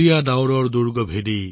ঘন ডাৱৰ ফালিবলৈ